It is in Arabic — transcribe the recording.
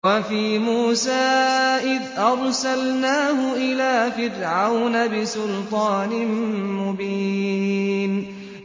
وَفِي مُوسَىٰ إِذْ أَرْسَلْنَاهُ إِلَىٰ فِرْعَوْنَ بِسُلْطَانٍ مُّبِينٍ